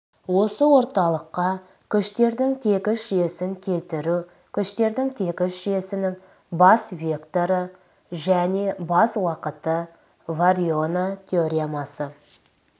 осы орталыққа күштердің тегіс жүйесін келтіру күштердің тегіс жүйесінің бас векторы және бас уақыты вариньона теоремасы